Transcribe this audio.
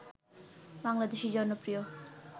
বাংলাদেশী জনপ্রিয়